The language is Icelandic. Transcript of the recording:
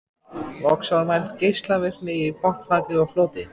Loks var mæld geislavirkni í botnfalli og floti.